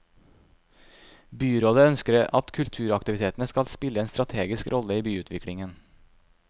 Byrådet ønsker at kulturaktivitetene skal spille en strategisk rolle i byutviklingen.